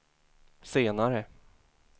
senare